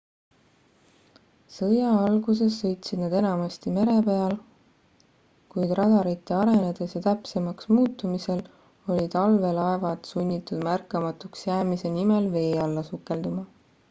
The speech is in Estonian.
sõja alguses sõitsid nad enamasti mere peal kuid radarite arenedes ja täpsemaks muutumisel olid allveelaevad sunnitud märkamatuks jäämise nimel vee alla sukelduma